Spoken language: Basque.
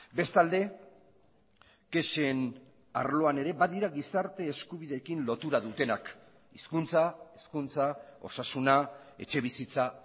bestalde kexen arloan ere badira gizarte eskubideekin lotura dutenak hizkuntza hezkuntza osasuna etxebizitza